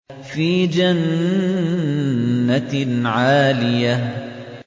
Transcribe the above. فِي جَنَّةٍ عَالِيَةٍ